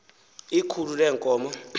ikhulu lee nkomo